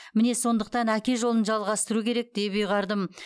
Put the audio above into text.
міне сондықтан әке жолын жалғастыру керек деп ұйғардым